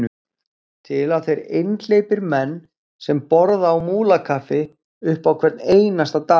Til eru þeir einhleypir menn sem borða á Múlakaffi upp á hvern einasta dag.